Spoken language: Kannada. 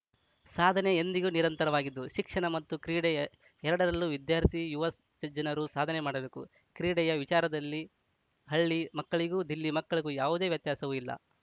ಸಾಧನೆ ಎಂದಿಗೂ ನಿರಂತರವಾಗಿದ್ದು ಶಿಕ್ಷಣ ಮತ್ತು ಕ್ರೀಡೆ ಎ ಎರಡರಲ್ಲೂ ವಿದ್ಯಾರ್ಥಿ ಯುವ ಜನರು ಸಾಧನೆ ಮಾಡಬೇಕು ಕ್ರೀಡೆಯ ವಿಚಾರದಲ್ಲಿ ಹಳ್ಳಿ ಮಕ್ಕಳಿಗೂ ದಿಲ್ಲಿ ಮಕ್ಕಳಿಗೂ ಯಾವುದೇ ವ್ಯತ್ಯಾಸವೂ ಇಲ್ಲ